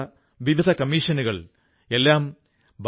ഇന്ന് മംജൂർഭായിക്ക് ഈ ബിസിനസിൽ ടേണോവർ കോടികളാണ്